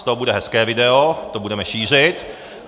Z toho bude hezké video, to budeme šířit.